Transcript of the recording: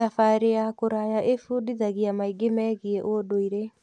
Thabarĩ ya kũraya ĩbundithagia maingĩ megiĩ ũndũire.